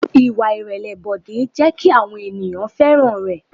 Ìwà ìrẹ̀lẹ̀ Bọ̀dé jẹ́ kí àwọn ènìyàn fẹ́ràn rẹ̀.